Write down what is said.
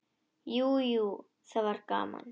Jú, jú, það var gaman.